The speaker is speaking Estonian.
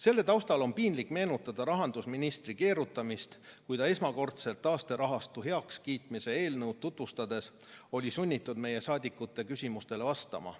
Selle taustal on piinlik meenutada rahandusministri keerutamist, kui ta esmakordselt taasterahastu heakskiitmise eelnõu tutvustades oli sunnitud meie saadikute küsimustele vastama.